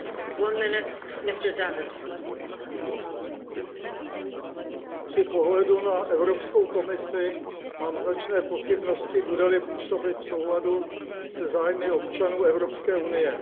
Paní předsedající, při pohledu na Evropskou komisi mám značné pochybnosti, bude li působit v souladu se zájmy občanů Evropské unie.